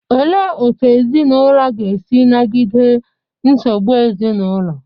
Olee otú ezinụlọ ga-esi nagide nsogbu ezinụlọ?